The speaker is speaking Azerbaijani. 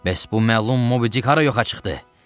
Bəs bu məlum Mobidic hara yoxa çıxdı?